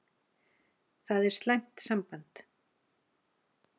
Það er slæmt samband.